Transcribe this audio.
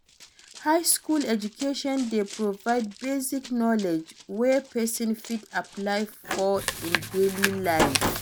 High school education de provide basic knowledge wey persin fit apply for in daily life